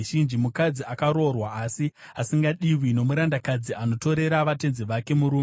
mukadzi akaroorwa asi asingadiwi, nomurandakadzi anotorera vatenzi vake murume.